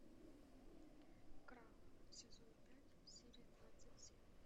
крах сезон пять серия двадцать семь